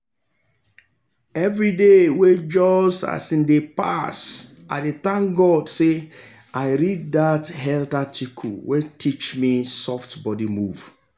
every day wey um pass i dey thank god say i read that health article wey teach me soft body move.